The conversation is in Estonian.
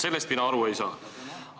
Tegelikult ju nähti, et viga tehti.